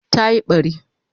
Ta yi bari